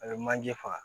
A bɛ manje faga